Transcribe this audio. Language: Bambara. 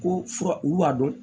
Ko fura olu b'a dɔn